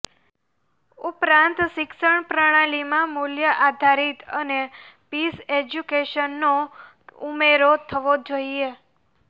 ઉપરાંત શિક્ષણ પ્રણાલીમાં મૂલ્યઆધારીત અને પીસ એજયુકેશનનો ઉમેરો થવો જોઈએ